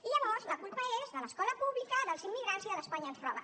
i llavors la culpa és de l’escola pública dels immigrants i de l’ espanya ens roba